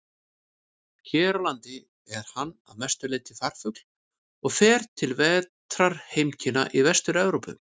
Hér á landi er hann að mestu leyti farfugl og fer til vetrarheimkynna í Vestur-Evrópu.